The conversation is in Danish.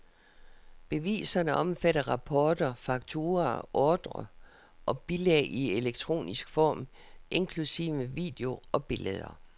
Beviserne omfatter rapporter, fakturaer, ordrer og bilag i elektronisk form, inklusive video og billeder.